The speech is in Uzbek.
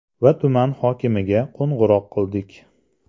Va tuman hokimiga qo‘ng‘iroq qildik.